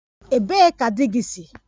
Ebee ka di gị si?